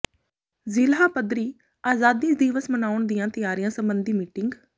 ਜ਼ਿਲ੍ਹਾ ਪੱਧਰੀ ਆਜ਼ਾਦੀ ਦਿਵਸ ਮਨਾਉਣ ਦੀਆਂ ਤਿਆਰੀਆਂ ਸਬੰਧੀ ਮੀਟਿੰਗ